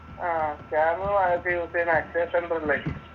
ആഹ് scanner ഒക്കെ use ചെയ്യുന്നേ അക്ഷയ സെൻറ്ററിൽ ആയിരിക്കും.